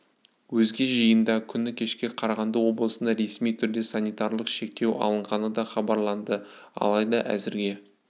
өзге жиында күні кеше қарағанды облысында ресми түрде санитарлық шектеу алынғаны да хабарланды алайда әзірге